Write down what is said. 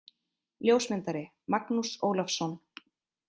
Ljósmyndari: Magnús Ólafsson.